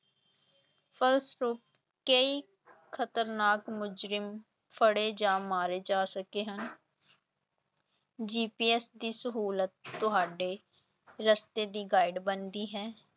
ਫਸੂਰਪ ਕਈ ਖ਼ਤਰਨਾਕ ਮੁਜ਼ਰਿਮ ਫੜੇ ਜਾਂ ਮਾਰੇ ਜਾ ਸਕੇ ਹਨ GPS ਦੀ ਸਹੂਲਤ ਤੁਹਾਡੇ ਰਸਤੇ ਦੀ guide ਬਣਦੀ ਹੈ।